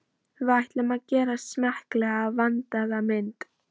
Við ætlum að gera smekklega, vandaða mynd.